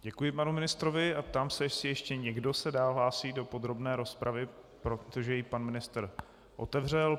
Děkuji panu ministrovi a ptám se, jestli ještě někdo se dál hlásí do podrobné rozpravy, protože ji pan ministr otevřel.